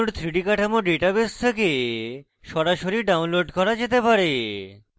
জৈব অণুর 3d কাঠামো ডাটাবেস থেকে সরাসরি download করা যেতে পারে